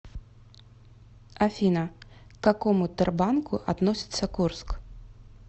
афина к какому тербанку относится курск